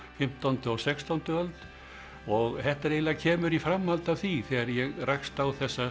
fimmtándu og sextándu öld og þetta eiginlega kemur í framhaldi af því þegar ég rakst á